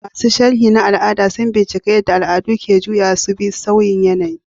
Masu sharhi na al'ada sun bincika yadda al'adu ke juyawa su bi sauyin yanayi.